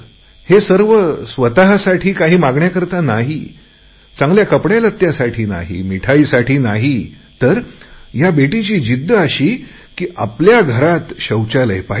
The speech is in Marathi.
हे सर्व स्वतसाठी काही मागण्यासाठी नाही चांगल्या कपडे मिळावे यासाठी नाही मिठाईसाठी नाही तर या मुलीची जिद्द अशी की आपल्या घरात शौचालय पाहिजे